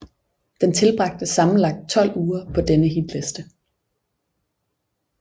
Den tilbragte sammenlagt 12 uger på denne hitliste